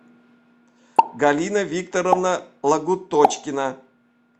галина викторовна лагуточкина